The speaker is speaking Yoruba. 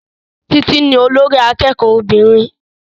Títí ní olórí akẹ́kọ̀ọ́ obìnrin